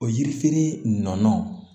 O yirifeere nɔnɔ